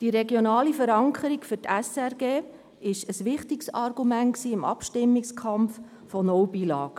Die regionale Verankerung der SRG war ein wichtiges Argument im Abstimmungskampf gegen die «No Billag»-Initiative.